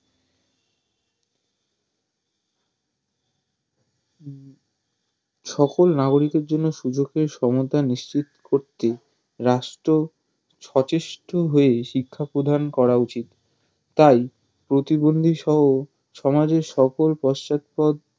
সকল নাগরিকের জন্য সুযোগের সহায়তা নিশ্চিত করতে রাষ্ট্র সচেষ্ট হয়ে শিক্ষা প্রদান করা উচিত তাই প্রতিবন্দীসহ সমাজের সকল পশ্চাদপদ